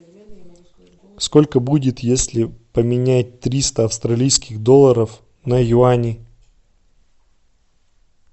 сколько будет если поменять триста австралийских долларов на юани